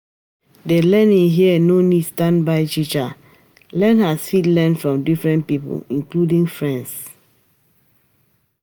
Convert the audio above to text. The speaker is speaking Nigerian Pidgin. Di learning here no need standby teacher, learners fit learn from different pipo including friends